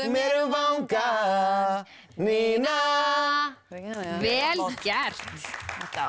mér um vanga Nína vel gert þetta